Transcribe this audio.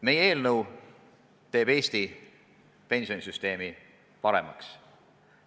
Meie eelnõu kohane seadus teeb Eesti pensionisüsteemi paremaks.